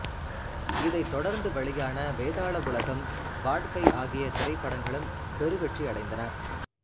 இதைத் தொடர்ந்து வெளியான வேதாள உலகம் வாழ்க்கை ஆகிய திரைப்படங்களும் பெருவெற்றியடைந்தன